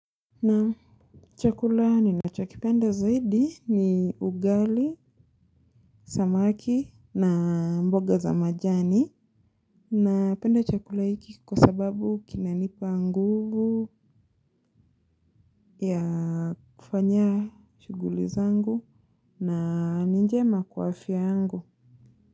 Na chakula ninacho kipenda zaidi ni ugali, samaki na mboga za majani. Napenda chakula hiki kwa sababu kinanipa nguvu ya kufanya shughuli zangu na ni njema kwa afya yangu.